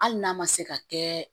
Hali n'a ma se ka kɛ